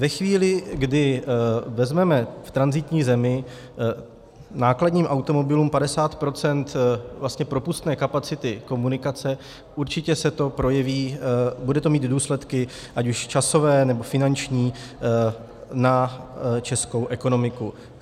Ve chvíli, kdy vezmeme v tranzitní zemi nákladním automobilům 50 % propustné kapacity komunikace, určitě se to projeví, bude to mít důsledky ať už časové, nebo finanční na českou ekonomiku.